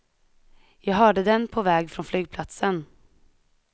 Jag hörde den på väg från flygplatsen.